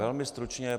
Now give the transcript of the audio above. Velmi stručně.